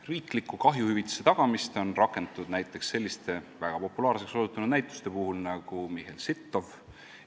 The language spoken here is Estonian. Riiklikku kahjuhüvitise tagamist on rakendatud näiteks selliste väga populaarseks osutunud näituste puhul nagu "Michel Sittow.